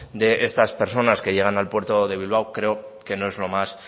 de estas personas que llegan al puerto de bilbao creo que no es lo más